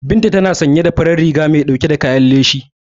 Binta tana sanye da farar riga mai dauke da kayan leshi.